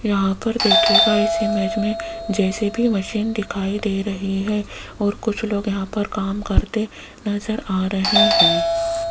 यहां पर देखियेगा इस इमेज मे जे_सी_बी मशीन दिखाई दे रही है और कुछ लोग यहां पर काम करते नज़र आ रहे है।